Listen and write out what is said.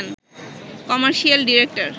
commercial director